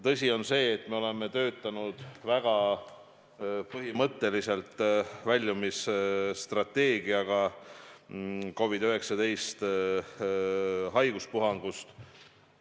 Tõsi on see, et me oleme väga põhimõtteliselt töötanud COVID-19 haiguspuhangust väljumise strateegiaga.